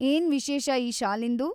ಏನ್‌ ವಿಶೇಷ ಈ ಶಾಲಿಂದು?